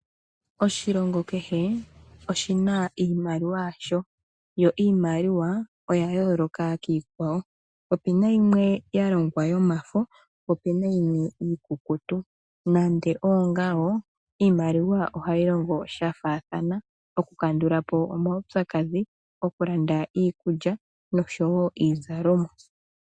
Oshilongo kehe oshi na iimaliwa yasho yo iimaliwa oya yooloka kiikwawo. Opu na yimwe ya longwa yomafo, po opu na yimwe iikukutu nande ongawo iimaliwa ohayi longo sha faathana. Okukandula po omaupyakadhi, okulanda iikulya noshowo iizalomwa.